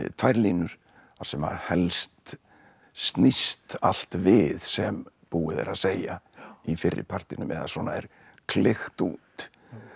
tvær línur þar sem helst snýst allt við sem búið er að segja í fyrri partinum eða svona er klykkt út